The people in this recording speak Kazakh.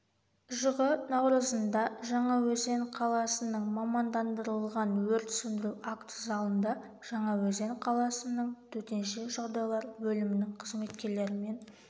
жығы наурызында жаңаөзен қаласының мамандандырылған өрт сөндіру акт залында жаңаөзен қаласының төтенше жағдайлар бөлімінің қызметкерлерімен